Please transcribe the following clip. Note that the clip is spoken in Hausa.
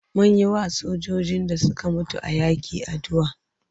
Mun yiwa sojojin da suka mutu a yaƙi addu'a.